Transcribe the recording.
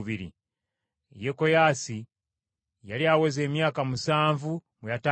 Yekoyaasi yali aweza emyaka musanvu bwe yatandika okufuga.